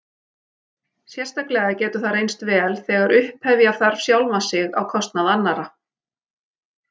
Sérstaklega getur það reynst vel þegar upphefja þarf sjálfan sig á kostnað annarra.